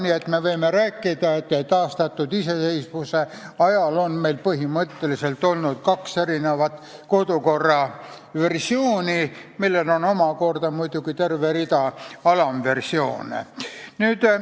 Nii et me võime rääkida, et taastatud iseseisvuse ajal on meil põhimõtteliselt olnud kaks erinevat kodukorra versiooni, millel on omakorda olnud muidugi terve rida alamversioone.